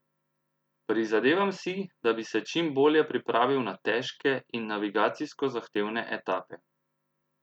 Prizadevam si, da bi se čim bolje pripravil na težke in navigacijsko zahtevne etape.